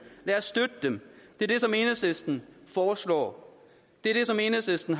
lad os støtte dem det er det som enhedslisten foreslår det er det som enhedslisten